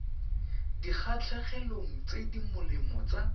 dikgatlhegelong tse di molemo tsa